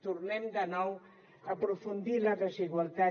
tornem de nou a aprofundir la desigualtat